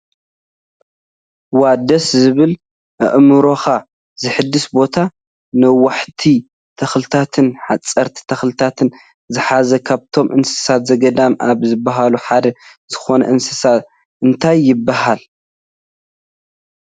ዋው ደስ ዝብል ኣእምሮካ ዝሕድስ ቦታ ነዋሕቲ ተክልታትን ሓፀርቲ ተክልታት ዝሓዘን ካብቶም እንስሳ ዘገዳም ካብ ዝብሃሉ ሓደ ዝኮኑ እንስስ እንታይ ይብሃሉ?